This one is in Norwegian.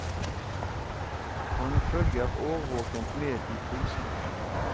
Han følger årvåkent med i prisene.